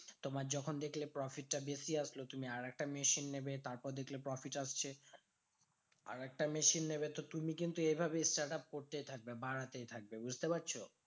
তোমার যখন দেখলে profit টা বেশি আসলো তুমি আরেকটা machine নেবে। তারপর দেখলে profit আসছে আরেকটা machine নেবে। তো তুমি কিন্তু এইভাবেই startup করতেই থাকবে। বাড়াতেই থাকবে বুঝতে পারছো?